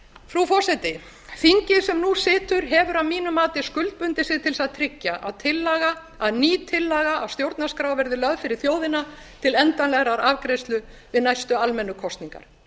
frú forseti þingið sem nú situr hefur að mínu mati skuldbundið sig til þess að tryggja að ný tillaga að stjórnarskrá verði lögð fyrir þjóðina til endanlegrar afgreiðslu við næstu almennu kosningar